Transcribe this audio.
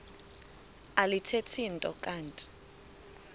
alithethi nto kanti